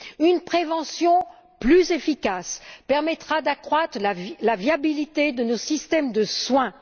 Une prévention plus efficace permettra d'accroître la viabilité de nos systèmes de soins.